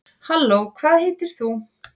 halló hvað heitir þú